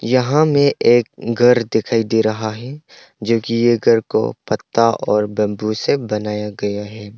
यहां में एक घर दिखाई दे रहा है जोकि ये घर को पत्ता और बंबू से बनाया गया है।